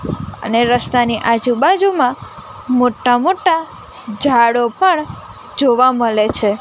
અને રસ્તાની આજુબાજુમાં મોટા મોટા જાળો પણ જોવા મલે છે.